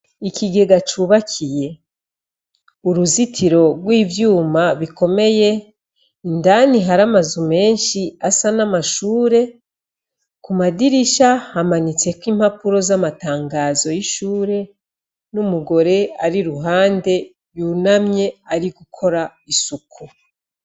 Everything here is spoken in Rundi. Ikigega cubakiye uruzitiro rw'ivyuma bikomeye indani hari amazu menshi asa n'amashure ku madirisha hamanitseko impapuro z'amatangazo y'ishure n'umugore ari iruhande yunamye ari gukora isuku.